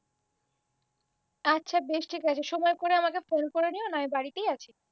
আচ্ছা বেশ ঠিক আছে সময় করে আমাকে ফোন করে নিও না বাড়িতেই আছি